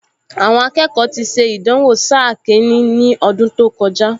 Àwọn akẹ́kọ̀ọ ti ṣe ìdánwò sáà kìíní ní ọdún tó kọjá